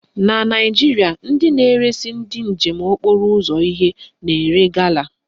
Na Naijiria, ndị na-eresi ndị njem okporo ụzọ ihe na-ere gala